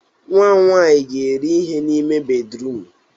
Nwa m nwanyị ga-eri ihe n'ime bédrụum.